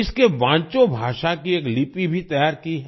इसके वांचो भाषा की एक लिपि भी तैयार की है